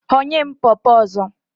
Ghọnye m pọpọ ọzọ!